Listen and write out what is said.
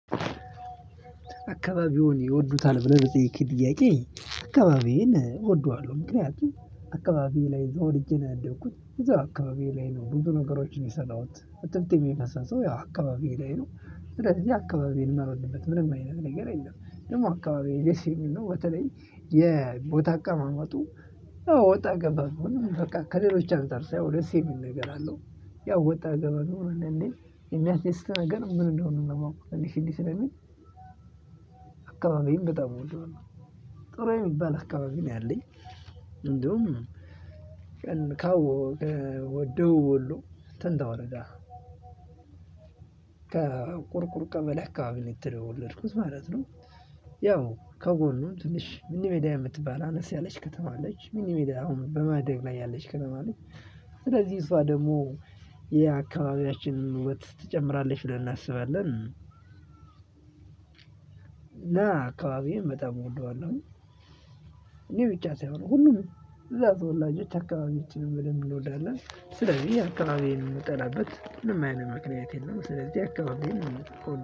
አካባቢውን ይወዱታል ብለህ በጸይቅ ድያቄ አካባቢዬን እወደዋለሁ ምክንያቱም አካባቢዬ ላይ ተወልጄ ነው ያደግኩት እዛው አካባቢዬ ላይ ነው ብዙ ነገሮችን የሰራሁት እትብቴም የፈሰሰው ያው አካባቢዬ ላይ ነው ስለዚህ አካባቢዬን ማልወድበት ምንም አይነት ነገር የለም ደግሞ አካባቢዬ ደስ የሚል ነው። በተለይ የቦታ አቀማመጡ ወጣ ገባ ቢሆንም በቃ ከሌሎች አንፃር ሳየው ደስ የሚል ነገር አለው። ያው ወጣ ገበ ቢሆን እንዳንዴ የሚያስደስት ነገር ምን እንደሆነ ለማወቅ እንዴ ሲል ስለሚል አካባቢን በጣም እወደዋለሁ። ጥሩ የሚባል አካባቢ ነው ያለኝ። እንደውም ቀን ከደቡብ ወሎ ተንታ ወረዳ ከቁርቁር ቀበሌ አካባቢ ነው የተወለድኩት ማለት ነው። ያው ከጎኑ ትንሽ ምኒሚዲያ የምትባል አነስ ያለች ከተማ አለች ምኒሚዲያ አሁን በማደግ ላይ ያለች ከተማ አለች። ስለዚህ እሷ ደግሞ የአካባቢያችንን ውበት ትጨምራለች ብለን እናስባለን። እና አካባቢየን በጣም እወደዋለሁኝ። እኔ ብቻ ሳይሆን ሁሉም እዛ ተወላጆች አካባቢያችን በደንብ እንወዳለን። ስለዚህ አካባቢየን የምጠላበት ምንም አይነት ምክንያት የለም ስለዚህ አካባቢየን